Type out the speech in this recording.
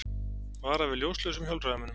Vara við ljóslausum hjólreiðamönnum